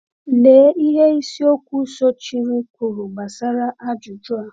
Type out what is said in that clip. Lea ihe isiokwu sochiri kwuru gbasara ajụjụ a.